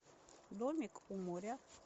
домик у моря